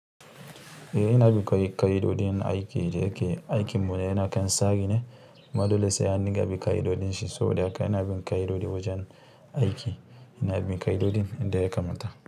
Eh ina bin ƙai-- ƙa, ido jin aiki da yake aikin mu yana kan tsari ne amman dole sai an dukka bin ƙa'idojin shi saboda haka ina bin ƙa'idoji wajen aiki ina bin ƙa'idojin da ya kamata.